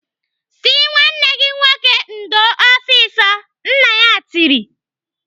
"Sị nwanne gị nwoke ndo ọsịsọ!" Nna ya tiri.